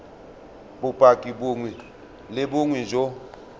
bopaki bongwe le bongwe jo